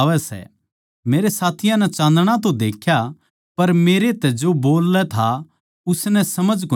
मेरे साथियाँ नै चाँदणा तो देख्या पर मेरै तै जो बोल्लै था उसनै समझ कोनी पाए